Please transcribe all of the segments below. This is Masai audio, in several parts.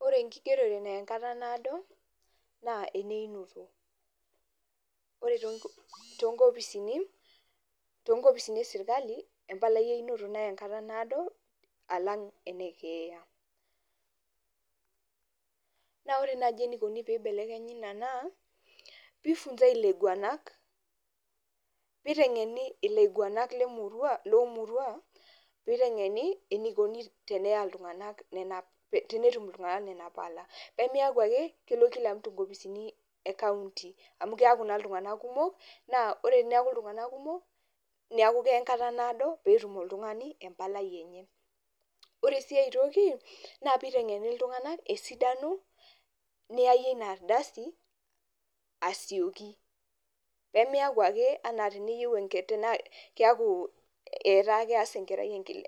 Ore enkigerore naya enkata naado, naa eneinoto. Ore too nkopisini esirkali empalai einoto naya enkata naado alang' ene keeya. Naa ore naaji eneikoni pee eibekenyi ina naa, pee ifinzae ilaiguanak pee etengeni ilaiguanak le murua loo murua eneiko peeya iltunganak nena pala, pee meeku ake kelo kilamutu inkopisini ekaunti, amu keeku naa iltunganak kumok naa ore eneeku iltunganak kumok neeku keya enkata naado peetum oltungani empalai enye. Ore sii ai toki naa pee eitengeni iltunganak esidano niyayie ina aldasi asioki pee miyaku ake teniyieu teneeku keas enkarai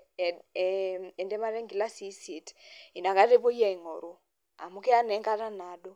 entemata enkilasi eisie, inakata epoi aingoru. Amu keya naa enkata naado.